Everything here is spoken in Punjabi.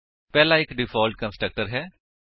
ਪਹਿਲਾ ਇੱਕ ਡਿਫਾਲਟ ਕੰਸਟਰਕਟਰ ਹੈ